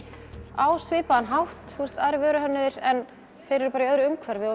á svipaðan hátt aðrir vöruhönnuðir en þeir eru bara í öðru umhverfi og